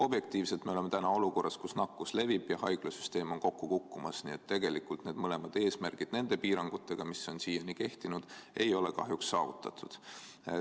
Objektiivselt me oleme täna olukorras, kus nakkus levib ja haiglasüsteem on kokku kukkumas, nii et tegelikult need mõlemad eesmärgid nende piirangutega, mis on siiani kehtinud, on kahjuks saavutamata.